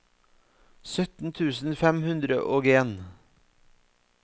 sytten tusen fem hundre og en